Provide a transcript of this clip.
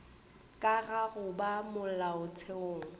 ka ga go ba molaotheong